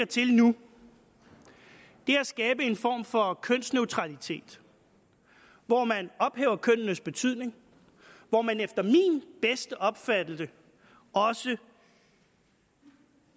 til nu er at skabe en form for kønsneutralitet hvor man ophæver kønnenes betydning hvor man efter min bedste opfattelse også